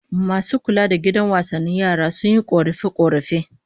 Masu kula da gidan wasannin yaran, sun yi korafe-korafe